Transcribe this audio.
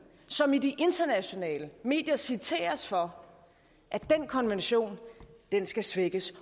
som i de internationale medier citeres for at den konvention skal svækkes